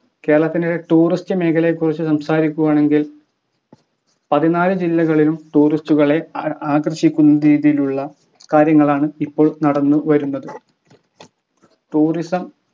കേരളത്തിൻ്റെ tourist മേഖലയെ കുറിച് സംസാരിക്കുകയാണെങ്കിൽ പതിനാലു ജില്ലകളിലും tourist കളെ ആ ആകർഷിക്കുന്ന രീതിയിലുള്ള കാര്യങ്ങളാണ് ഇപ്പോൾ നടന്നു വരുന്നത് tourism